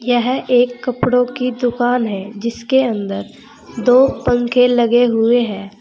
यह एक कपड़ों की दुकान है जिसके अंदर दो पंखे लगे हुए है।